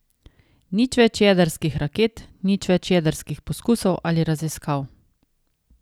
Nič več jedrskih raket, nič več jedrskih poskusov ali raziskav!